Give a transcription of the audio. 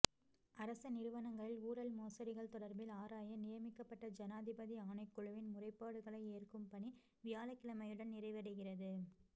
அரச நிறுவனங்களின் ஊழல் மோசடிகள் தொடர்பில் ஆராய நியமிக்கப்பட்ட ஜனாதிபதி ஆணைக்குழுவின் முறைப்பாடுகளை ஏற்கும் பணி வியாழக்கிழமையுடன் நிறைவடைகிறது